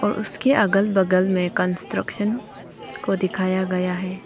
उसके अगल बगल में कंस्ट्रक्शन को दिखाया गया है।